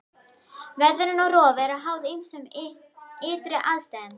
Veðrun og rof eru háð ýmsum ytri aðstæðum.